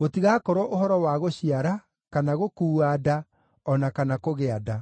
gũtigakorwo ũhoro wa gũciara, kana gũkuua nda, o na kana kũgĩa nda.